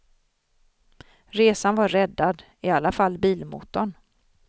Resan var räddad, i alla fall bilmotorn.